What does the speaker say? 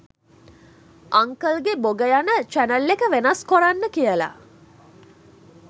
අංකල්ගේ බොග යන චැනල් එක වෙනස් කොරන්න කියලා